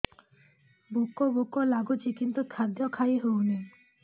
ଭୋକ ଭୋକ ଲାଗୁଛି କିନ୍ତୁ ଖାଦ୍ୟ ଖାଇ ହେଉନି